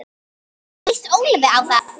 Hvernig lýst Ólafi á það?